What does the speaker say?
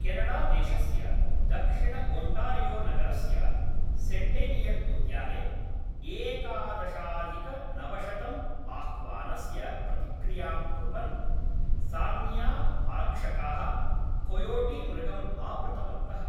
केनडादेशस्य दक्षिणओण्टारियोनगरस्य सेण्टेनियल्उद्याने एकादशाधिकनवशतम् आह्वानस्य प्रतिक्रियां कुर्वन् सार्नियाआरक्षकाः कोयोटीमृगम् आवृतवन्तः।